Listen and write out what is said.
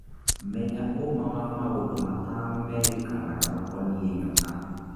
Menya ũũma wa maũndũ matano merĩkanaga makoniĩ nyoka.